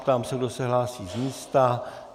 Ptám se, kdo se hlásí z místa.